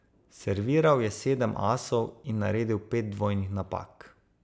Serviral je sedem asov in naredil pet dvojnih napak.